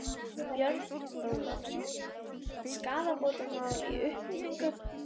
Björn Þorláksson: Skaðabótamál í uppsiglingu?